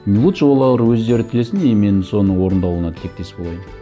лучше олар өздері тілесін и мен соның орындалуына тілектес болайын